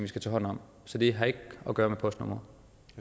skal tage hånd om så det har ikke at gøre med postnumre